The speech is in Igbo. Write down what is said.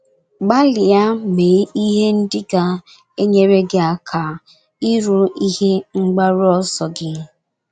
Gbalịa mee ihe ndị ga - enyere gị aka iru ihe mgbaru ọsọ gị.